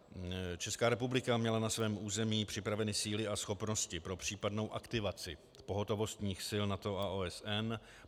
Česká republika měla na svém území připraveny síly a schopnosti pro případnou aktivaci pohotovostních sil NATO a OSN.